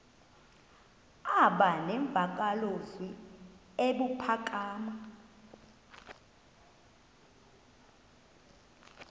aba nemvakalozwi ebuphakama